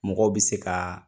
Mɔgɔw bi se ka